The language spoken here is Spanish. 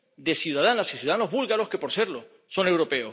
de ciudadanas y ciudadanos búlgaros que, por serlo, son europeos.